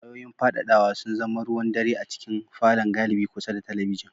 Wayoyin fadadawa sun zama ruwan dare a cikin falon galibi kusa da talabijin.